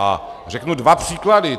A řeknu dva příklady.